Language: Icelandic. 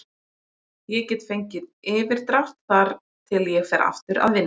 Ég get fengið yfirdrátt þar til ég fer aftur að vinna.